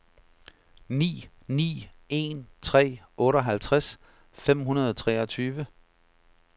ni ni en tre otteoghalvtreds fem hundrede og treogtyve